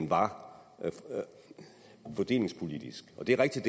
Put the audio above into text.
var fordelingspolitisk og det er rigtigt